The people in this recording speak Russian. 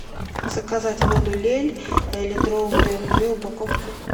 заказать воду лель литровую две упаковки